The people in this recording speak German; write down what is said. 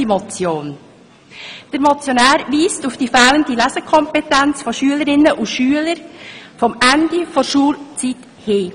Der Motionär weist auf die fehlende Lesekompetenz von Schülerinnen und Schülern am Ende der Schulzeit hin.